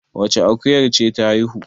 wacce akuyar ce ta haihu?